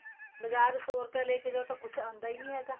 ਬਾਜ਼ਾਰ ਸੋ ਰੁਪਇਆ ਲੈਕੇ ਜਾਹੋ ਤਾਂ ਕੁੱਛ ਆਂਦਾ ਹੀ ਨਹੀਂ ਹੈਗਾ